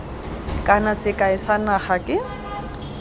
kana sekai sa naga ke